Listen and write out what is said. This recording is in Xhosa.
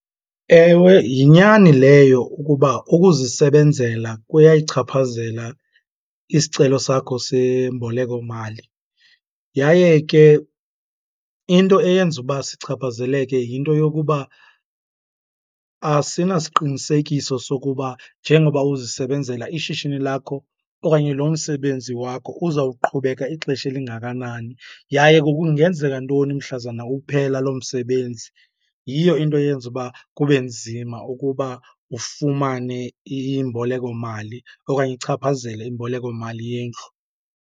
Ewe yinyani leyo ukuba ukuzisebenzela kuyayichaphazela isicelo sakho sembolekomali. Yaye ke into eyenza uba sichaphazeleke yinto yokuba asinasiqinisekiso sokuba njengoba uzisebenzela ishishini lakho okanye lo msebenzi wakho uzawuqhubeka ixesha elingakanani yaye kungenzeka ntoni mhlazane uphela loo msebenzi. Yiyo into eyenza uba kube nzima ukuba ufumane imbolekomali okanye ichaphazele imbolekomali yendlu.